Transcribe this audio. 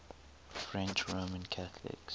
french roman catholics